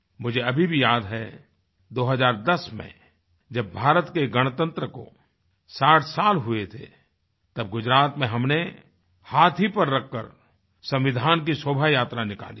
मुझे अभी भी याद है 2010 में जब भारत के गणतंत्र को 60 साल हुए थे तब गुजरात में हमने हाथी पर रख कर संविधान की शोभायात्रा निकाली थी